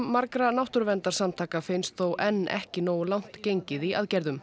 margra náttúruverndarsamtaka finnst þó enn ekki nógu langt gengið í aðgerðum